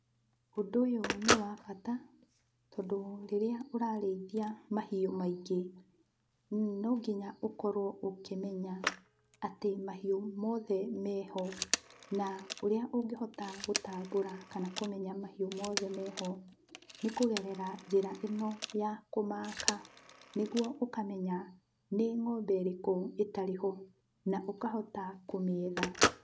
Ũndũ ũyũ nĩ wa bata tondũ rĩrĩa ũrarĩithia mahiũ maingĩ, no nginya ũkorwo ũkĩmenya atĩ mahiũ mothe meho, na ũrĩa ũngĩhota gũtambũra kana kũmenya atĩ mahiũ mothe meho nĩ kũgerera njĩra ĩno ya kũmaaka nĩguo ũkamenya nĩ ng'ombe ĩrĩkũ ĩtarĩ ho, na ũkahota kũmĩetha.